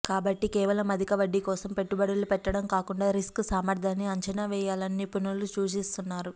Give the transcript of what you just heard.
కాబట్టి కేవలం అధిక వడ్డీ కోసం పెట్టుబడులు పెట్టడం కాకుండా రిస్క్ సామర్థ్యాన్ని అంచనా వేయాలని నిపుణులు సూచిస్తున్నారు